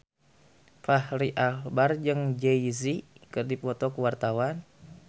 Fachri Albar jeung Jay Z keur dipoto ku wartawan